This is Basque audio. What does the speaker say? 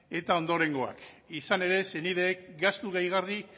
eta ondorengoak izan ere senideek gastu gehigarri